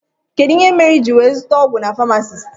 Kedụ ihe mere iji wee zụta ọgwụ na pamasist?